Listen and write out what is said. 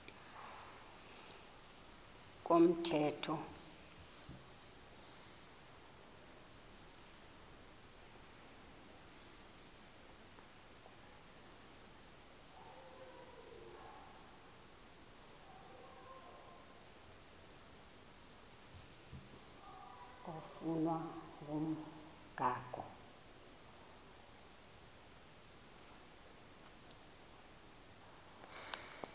komthetho oflunwa ngumgago